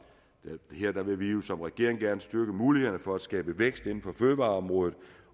vil vi jo som regering gerne styrke mulighederne for at skabe vækst inden for fødevareområdet